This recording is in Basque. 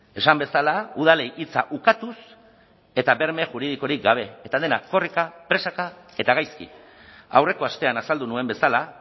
esan bezala udalei hitza ukatuz eta berme juridikorik gabe eta dena korrika presaka eta gaizki aurreko astean azaldu nuen bezala